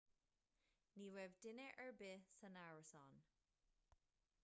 ní raibh duine ar bith san árasán